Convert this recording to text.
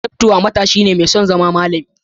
Daptwa matashi ne mai son zama malami.